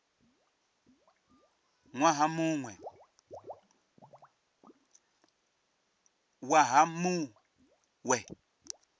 ṅ waha mu ṅ we